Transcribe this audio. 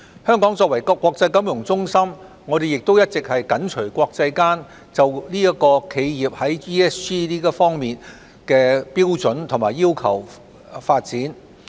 香港作為國際金融中心亦一直緊隨國際間就企業在 ESG 方面的標準及要求發展。